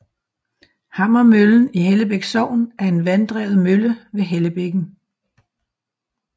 Hammermøllen i Hellebæk Sogn er en vanddrevet mølle ved Hellebækken